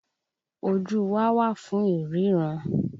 Ojú wa wà fún ìrína